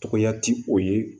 Tɔgɔya ti o ye